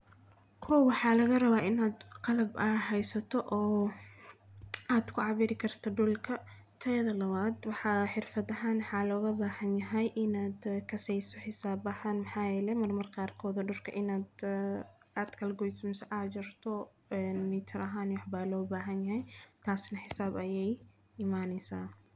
Koox waxaa laga rabaa inaad qalab ah haysato oo aad ku cabiri karto dhul ka tayada la waad. Wax xirfadahana xal uga baahan yahay inaad ah kasaysi hisaab ahaan Maxaayele mar markaad kooda dhulka inaad aad kal goys mus ajrto, ee mitar ahaan u xubaalo baahan yahay, taasina hisaab ayay imaansanaa.